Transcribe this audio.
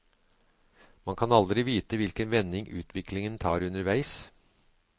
Man kan aldri vite hvilken vending utviklingen tar underveis.